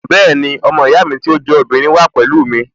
Bẹ́ẹ̀ni, ọmọ ìyá mi tí ó jẹ́ obìnrin wà pẹ̀lú mi